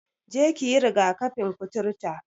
Je ki yi riga-kafin kuturta!